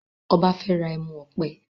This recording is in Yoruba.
Ọba fè rà ẹmu òpè.